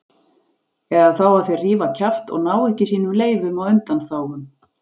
Eða þá að þeir rífa kjaft og ná ekki sínum leyfum og undanþágum.